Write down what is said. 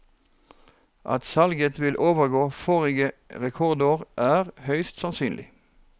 At salget vil overgå forrige rekordår, er høyst sannsynlig.